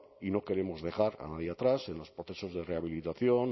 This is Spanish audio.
y no queremos dejar a nadie atrás en los procesos de rehabilitación